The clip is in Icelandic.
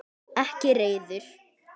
Ekki reiður.